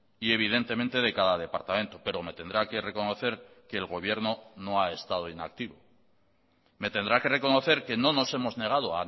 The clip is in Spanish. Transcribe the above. y evidentemente de cada departamento pero me tendrá que reconocer que el gobierno no ha estado inactivo me tendrá que reconocer que no nos hemos negado